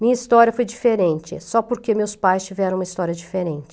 Minha história foi diferente, só porque meus pais tiveram uma história diferente.